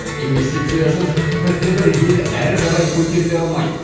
инвестициясыз бірде бір ел әрі қарай көтеріле алмайды